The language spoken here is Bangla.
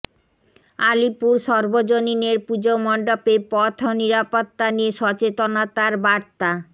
আলিপুর সর্বজনীনের পুজো মণ্ডপে পথ নিরাপত্তা নিয়ে সচেতনতার বার্তা